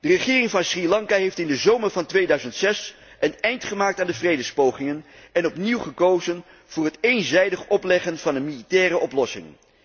De regering van Sri Lanka heeft in de zomer van 2006 een eind gemaakt aan de vredespogingen en opnieuw gekozen voor het eenzijdig opleggen van een militaire oplossing.